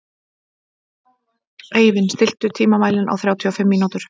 Eivin, stilltu tímamælinn á þrjátíu og fimm mínútur.